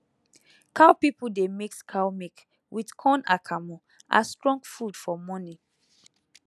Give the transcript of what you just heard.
cow people dey mix cow milk with corn akamu as strong food for morning